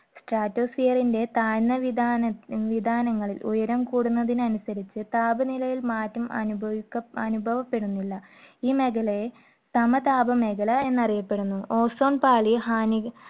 statosphere ന്റെ താഴ്ന്ന വിതാന ~ വിതാനങ്ങളിൽ ഉയരം കൂടുന്നതിനനുസരിച്ച് താപനിലയിൽ മാറ്റം അനുഭവിക്ക~ അനുഭവപ്പെടുന്നില്ല. ഈ മേഖലയെ സമതാപമേഖല എന്നറിയപ്പെടുന്നു. ozone പാളി ഹാനി